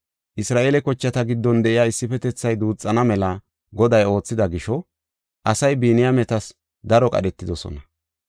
Isra7eele kochata giddon de7iya issifetethay duuxana mela Goday oothida gisho asay Biniyaametas daro qadhetidosona.